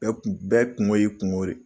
Bɛɛ kun bɛɛ kunko ye i kunko de ye.